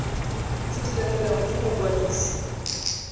tse di latelang go mokwadisi